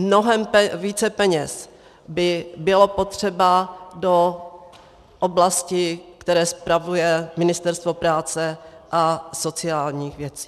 Mnohem více peněz by bylo potřeba do oblasti, kterou spravuje Ministerstvo práce a sociálních věcí.